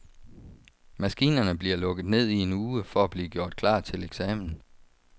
Maskinerne bliver lukket ned i en uge for at blive gjort klar til eksamen.